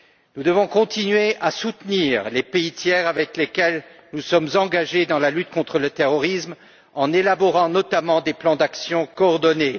Nous devons continuer à soutenir les pays tiers avec lesquels nous sommes engagés dans la lutte contre le terrorisme en élaborant notamment des plans d'actions coordonnés.